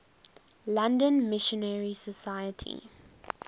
london missionary society